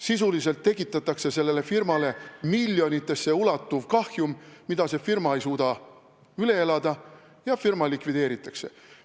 Sisuliselt tekitatakse sellele firmale miljonitesse ulatuv kahjum, mida see firma ei suuda üle elada, ja firma likvideeritakse.